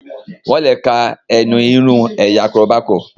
wón le ká ẹnu irun ẹ̀yà koroba kò.